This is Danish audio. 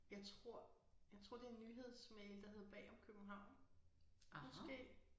Jeg tror jeg tror det en nyhedsmail der hedder Bag om København måske